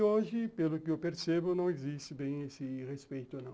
E hoje, pelo que eu percebo, não existe bem esse respeito, não.